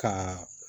Ka